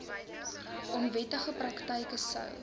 onwettige praktyke sou